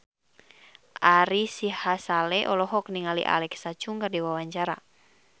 Ari Sihasale olohok ningali Alexa Chung keur diwawancara